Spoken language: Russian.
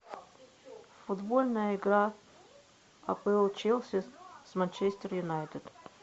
футбольная игра апл челси с манчестер юнайтед